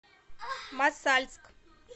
мосальск